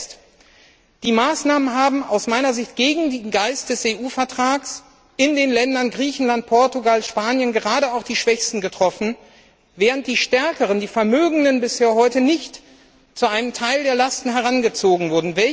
Und zuletzt Die Maßnahmen haben aus meiner Sicht gegen den Geist des EU Vertrags in den Ländern Griechenland, Portugal und Spanien gerade auch die Schwächsten getroffen, während die Stärkeren, die Vermögenden bis heute nicht dazu herangezogen wurden, einen Teil der Lasten zu tragen.